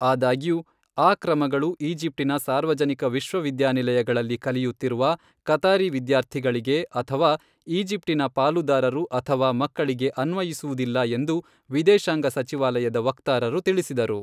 ಆದಾಗ್ಯೂ, ಆ ಕ್ರಮಗಳು ಈಜಿಪ್ಟಿನ ಸಾರ್ವಜನಿಕ ವಿಶ್ವವಿದ್ಯಾನಿಲಯಗಳಲ್ಲಿ ಕಲಿಯುತ್ತಿರುವ ಕತಾರಿ ವಿದ್ಯಾರ್ಥಿಗಳಿಗೆ ಅಥವಾ ಈಜಿಪ್ಟಿನ ಪಾಲುದಾರರು ಅಥವಾ ಮಕ್ಕಳಿಗೆ ಅನ್ವಯಿಸುವುದಿಲ್ಲ ಎಂದು ವಿದೇಶಾಂಗ ಸಚಿವಾಲಯದ ವಕ್ತಾರರು ತಿಳಿಸಿದರು.